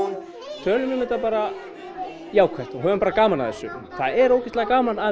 tölum um þetta bara jákvætt og höfum bara gaman af þessu það er ógeðslega gaman að